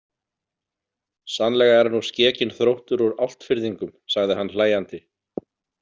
Sannlega er nú skekinn þróttur úr Álftfirðingum, sagði hann hlæjandi.